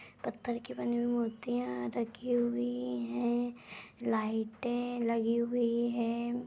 पत्थर की बनी हुई मूर्तियाँ रखी हुई हैं लाइटें लगी हुई हैं। म् --